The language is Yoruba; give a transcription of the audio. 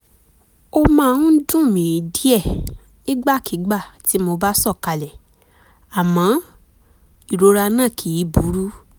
ó máa ń dùn mí díẹ̀ nígbàkigbà tí mo bá sọ̀kalẹ̀ àmọ́ ìrora náà kìí burú